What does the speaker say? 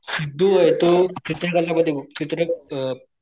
सिद्धू तो चित्रकला मध्ये चित्र अ,